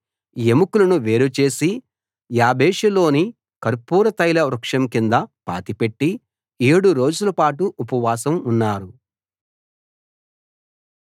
ఎముకలను వేరుచేసి యాబేషులోని కర్పూర తైల వృక్షం కింద పాతిపెట్టి ఏడు రోజులపాటు ఉపవాసం ఉన్నారు